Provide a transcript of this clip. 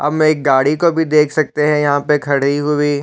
अब में एक गाड़ी को भी देख सकते है यहाँ पर खड़ी हुई --